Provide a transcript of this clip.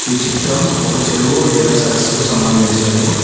ఈ చిత్రం ఒక చెరువు లేదా సరస్సుకు సంబంధించినది.